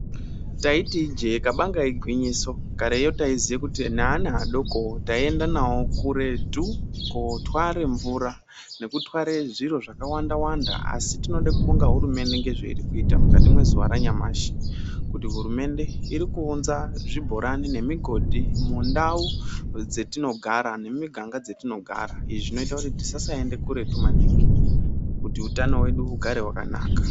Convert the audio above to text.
Taiti ijee kabanga igwinyiso kareyo taiziya kuti neana adokovo taienda navo kuretu kotware mvura nekutware zviro zvakawanda-wanda. Asi tinode kubonga hurumende ngezvairi kuita mukati mezuva ranyamashi. Kuti hurumende iri kuunza zvibhorano nemigodhi mundau dzetinogara nemuganda dzatinogara. Izvi zvinoita kuti tisasaende kuretu maningi kuti utano hwedu hugare hwakanaka.